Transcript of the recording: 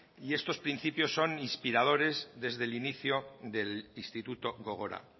y estos principios son inspiradores desde el inicio del instituto gogora